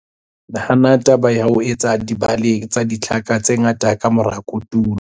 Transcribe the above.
Nahana taba ya ho etsa dibale tsa ditlhaka tse ngata ka mora kotulo.